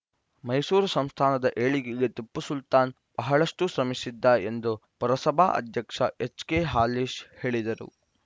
ಮೈಸೂರು ಸಂಸ್ಥಾನದ ಏಳಿಗೆಗೆ ಟಿಪ್ಪು ಸುಲ್ತಾನ್‌ ಬಹಳಷ್ಟುಶ್ರಮಿಸಿದ್ದ ಎಂದು ಪುರಸಭಾ ಅಧ್ಯಕ್ಷ ಎಚ್‌ ಕೆ ಹಾಲೇಶ್‌ ಹೇಳಿದರು